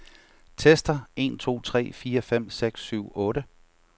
Tester en to tre fire fem seks syv otte.